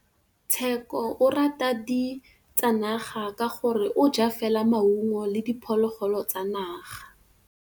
Tshekô o rata ditsanaga ka gore o ja fela maungo le diphologolo tsa naga.